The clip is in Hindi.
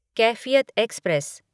कैफियत एक्सप्रेस